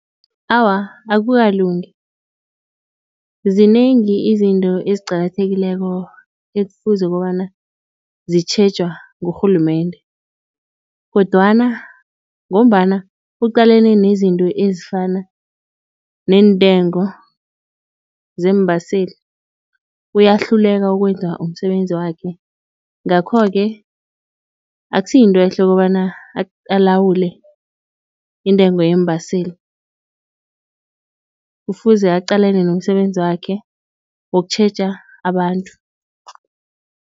Awa, akukalungi zinengi izinto eziqakathekileko ekufuze kobana zitjhejwa ngurhulumende. Kodwana ngombana uqalane nezinto ezifana neentengo zeembaseli uyahluleka ukwenza umsebenzi wakhe. Ngakho-ke akusiyintwehle ukobana alawule intengo yeembaseli kufuze aqalane nomsebenzi wakhe wokutjheja abantu.